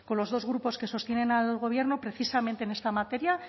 los dos grupos que sostienen al gobierno precisamente en esta materia